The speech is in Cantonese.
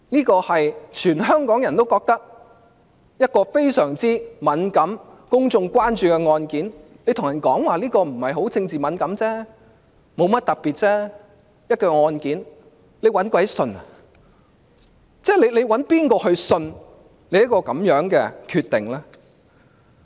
這是所有香港人都認為非常敏感、公眾關注的案件，司長對大家說這不是政治敏感、沒甚麼特別的一宗案件，會有人相信她下的這個決定嗎？